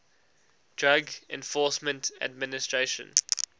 drug enforcement administration